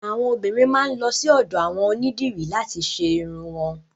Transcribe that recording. Àwọn obiìnrin máa lọ sí ọ̀dọ̀ àwọn onídìrí làti lọ ṣe irun wọn.